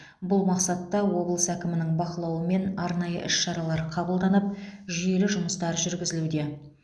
бұл мақсатта облыс әкімінің бақылауымен арнайы іс шаралар қабылданып жүйелі жұмыстар жүргізілуде